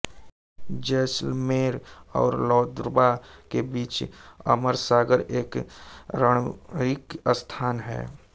जैसलमेर और लौद्रवा के बीच अमरसागर एक रमणिक स्थान है